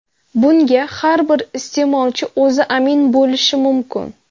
Bunga har bir iste’molchi o‘zi amin bo‘lishi mumkin.